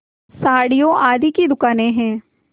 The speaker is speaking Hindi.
साड़ियों आदि की दुकानें हैं